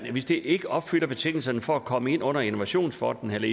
hvis det ikke opfylder betingelserne for at komme ind under innovationsfonden eller